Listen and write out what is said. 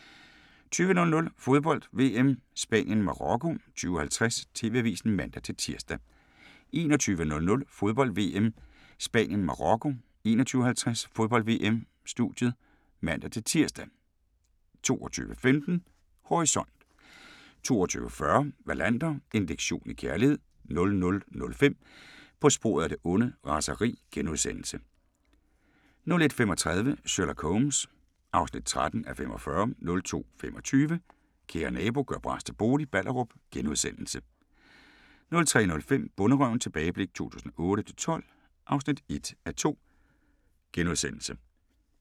20:00: Fodbold: VM - Spanien-Marokko 20:50: TV-avisen (man-tir) 21:00: Fodbold: VM - Spanien-Marokko 21:50: Fodbold: VM - Studiet (man-tir) 22:15: Horisont 22:40: Wallander: En lektion i kærlighed 00:05: På sporet af det onde: Raseri * 01:35: Sherlock Holmes (13:45) 02:25: Kære nabo – gør bras til bolig – Ballerup * 03:05: Bonderøven – tilbageblik 2008-2012 (1:2)*